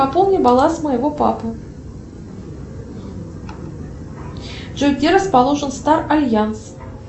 пополни баланс моего папы джой где расположен стар альянс